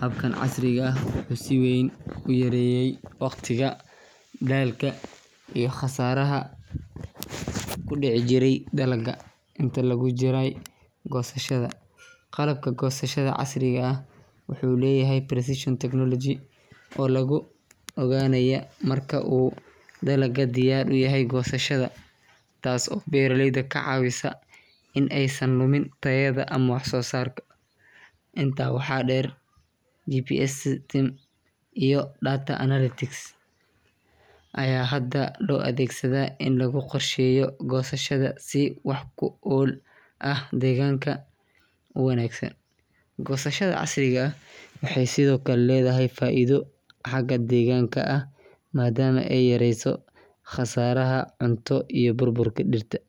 Habkan casriga ah wuxuu si weyn u yareeyay waqtiga, daalka iyo khasaaraha ku dhici jiray dalagga intii lagu jiray goosashada. Qalabka goosashada casriga ah wuxuu leeyahay precision technology oo lagu ogaanayo marka uu dalagga diyaar u yahay goosasho, taas oo beeraleyda ka caawisa in aysan lumin tayada ama wax-soo-saarka. Intaa waxaa dheer, GPS systems iyo data analytics ayaa hadda loo adeegsadaa in lagu qorsheeyo goosashada si wax-ku-ool ah oo deegaanka u wanaagsan. Goosashada casriga ah waxay sidoo kale leedahay faa’iido xagga deegaanka ah, maadaama ay yareyso khasaaraha cunto iyo burburka dhirta.